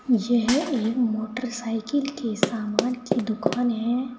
यह एक एक मोटरसाइकिल के सामान की दुकान है।